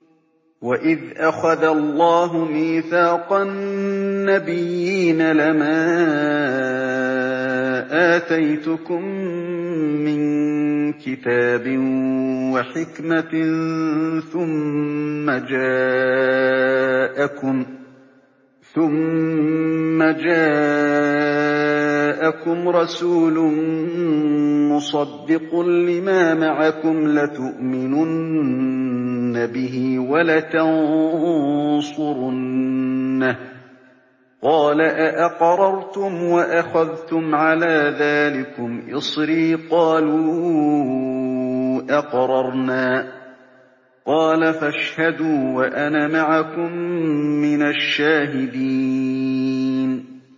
وَإِذْ أَخَذَ اللَّهُ مِيثَاقَ النَّبِيِّينَ لَمَا آتَيْتُكُم مِّن كِتَابٍ وَحِكْمَةٍ ثُمَّ جَاءَكُمْ رَسُولٌ مُّصَدِّقٌ لِّمَا مَعَكُمْ لَتُؤْمِنُنَّ بِهِ وَلَتَنصُرُنَّهُ ۚ قَالَ أَأَقْرَرْتُمْ وَأَخَذْتُمْ عَلَىٰ ذَٰلِكُمْ إِصْرِي ۖ قَالُوا أَقْرَرْنَا ۚ قَالَ فَاشْهَدُوا وَأَنَا مَعَكُم مِّنَ الشَّاهِدِينَ